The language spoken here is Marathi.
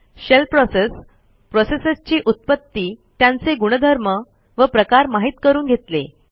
शेल प्रोसेस प्रोसेसेसची उत्पत्ती त्यांचे गुणधर्म व प्रकार माहित करून घेतले